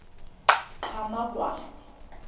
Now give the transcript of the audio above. qhamakwane